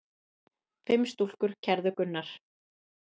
Fimm stúlkur kærðu Gunnar.